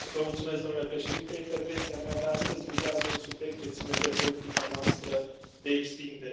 Domnule președinte, intervenția mea de astăzi vizează un subiect ce ține de politica noastră de extindere.